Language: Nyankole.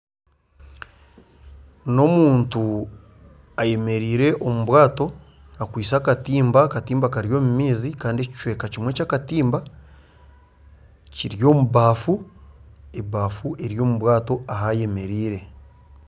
N'omuntu ayemereire omu bwato akwiste akatimba, akatimba Kari omumaizi Kandi ekicweka kimwe kyakatimba kiry'omubafu, ebafu eri omu bwato ahayemereire.